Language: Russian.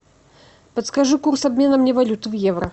подскажи курс обмена мне валют в евро